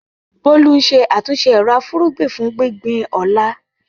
Bolu ń ṣe àtúnṣe ero-afugbin fún gbígbìn ọ̀la.